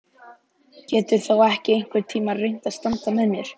Geturðu þá ekki einhvern tíma reynt að standa með mér?